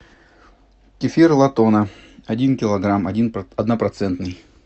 кефир латона один килограмм однопроцентный